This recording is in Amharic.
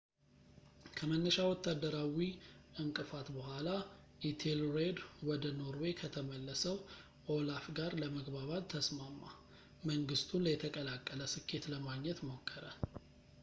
ከመነሻ ወታደራዊ እንቅፋት በኋላ ፣ ኢቴልሬድ ወደ ኖርዌይ ከተመለሰው ኦላፍ ጋር ለመግባባት ተስማማ ፣ መንግሥቱን የተቀላቀለ ስኬት ለማግኘት ሞከረ